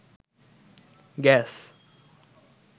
gas